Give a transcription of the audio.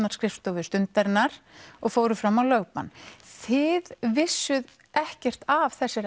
á skrifstofu Stundarinnar og fóru fram á lögbann þið vissuð ekkert af þessari